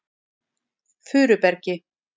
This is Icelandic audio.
Furubergi